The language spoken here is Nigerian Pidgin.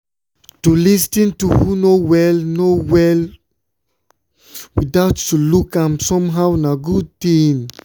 to lis ten to who no well no well without to look am somehow na good thing.